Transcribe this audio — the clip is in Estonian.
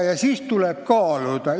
Ja siis tal tuleb neid kaaluda.